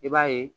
I b'a ye